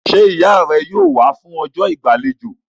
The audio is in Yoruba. Ṣé ìyá rẹ yóò wá fún ọjọ́ ìgbàlejò?